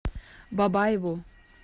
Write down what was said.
бабаеву